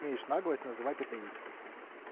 имеешь наглость называть это истиной